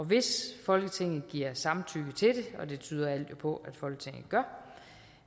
hvis folketinget giver samtykke til det og det tyder alt jo på